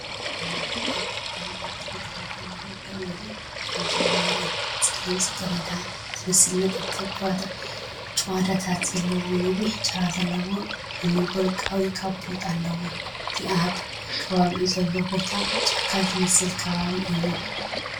እዚ ነብሪ ኣብ ግዳም ኣብ ተፈጥሮኣዊ ሃዋህው ደው ኢሉ ኸም ዘሎ የርኢ። ፀሊም ጽጌረዳ ዝመስል ነጠብጣብ ጭዋዳታት ዘለዎ ነዊሕ ጭራ ዘለዎ ልሙድ ወርቃዊ ካቦት ኣለዎ። እቲ ኣብ ከባቢኡ ዘሎ ቦታ ጫካ ዝመልአ ኸባቢ እዩ።